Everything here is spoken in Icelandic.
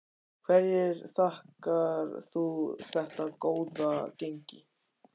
Hverju þakkar þú þetta góða gengi?